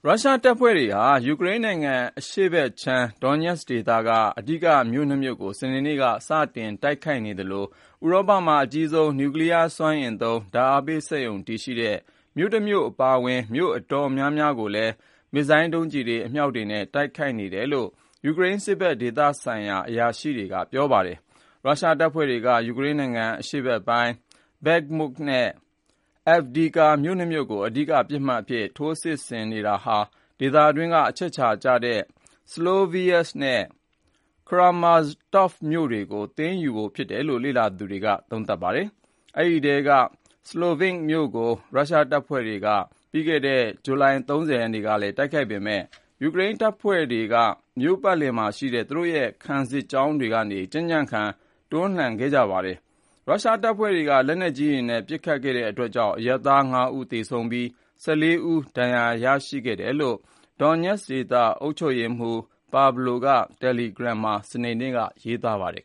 ရုရှားတပ်ဖွဲ့တွေဟာ ယူကရိန်းနိုင်ငံ အရှေ့ပိုင်း Donetsk ဒေသက အဓိက မြို့ ၂မြို့ကို စနေနေ့က စတင်တိုက်ခိုက်နေသလို ဥရောပမှာ အကြီးဆုံး နျူကလီးယားစွမ်းအင်သုံး ဓါတ်အားပေးစက်ရုံ တည်ရှိတဲ့ မြို့တမြို့အပါအဝင် မြို့အတော်များများကိုလည်း မစ်ဇိုင်းဒုံးကျည်တွေ ၊ အမြောက်တွေနဲ့ တိုက်ခိုက်နေတယ်လို့ ယူကရိန်း စစ်ဖက် နဲ့ ဒေသဆိုင်ရာ အရာရှိတွေက ပြောပါတယ်။ ရုရှားတပ်ဖွဲ့တွေက ယူကရိန်းနိုင်ငံ အရှေ့ပိုင်းက Bakhmut နဲ့ Avdiivka မြို့၂မြို့ကို အဓိက ပစ်မှတ်အဖြစ် ထိုးစစ် စစ်ဆင်နေတာဟာ ဒေသအတွင်းက အချက်အခြာကြတဲ့ Sloviansk နဲ့ Kramatorsk မြို့တွေကို သိမ်းယူဖို့ဖြစ်တယ်လို့ လေ့လာသူတွေက သုံးသပ်ကြပါတယ်။ အဲဒီအထဲက Sloviansk မြို့ကို ရုရှားတပ်ဖွဲ့တွေက ပြီးခဲ့တဲ့ ဂျူလိုင်လ၃ဝ ရက်နေ့က လည်း တိုက်ခိုက်ခဲ့ပေမယ် ယူကရိန်းတပ်ဖွဲ့တွေက မြို့ပတ်လည်မှာရှိကြတဲ့ သူတို့ရဲ့ ခံစစ်ကြောင်းတွေကနေ ကြံံ့ကြံ့ခံ တွန်းလှန်ခဲ့ကြပါတယ်။ ရုရှားတပ်ဖွဲ့တွေက လက်နက်ကြီးတွေနဲ့ ပစ်ခတ်ခဲ့တဲ့အတွက်ကြောင့် အရပ်သား၅ ဦး သေဆုံးခဲ့ပြီး ၁၄ ဦး ဒဏ်ရာရရှိခဲ့တယ်လို့ Donetsk ဒေသ အုပ်ချုပ်ရေးမှူးPavlo Kyrylenko က တယ်လီဂရမ်းမှာ စနေနေ့က ရေးသားပါတယ်